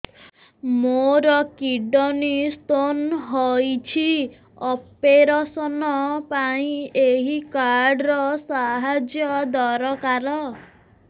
ମୋର kidney stone ହଇଛି operation ପାଇଁ ଏହି କାର୍ଡ ର ସାହାଯ୍ୟ ଦରକାର